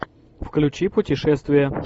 включи путешествия